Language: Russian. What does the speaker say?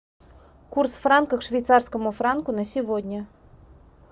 курс франка к швейцарскому франку на сегодня